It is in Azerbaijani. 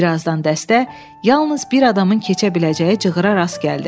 Bir azdan dəstə yalnız bir adamın keçə biləcəyi cığırara rast gəldi.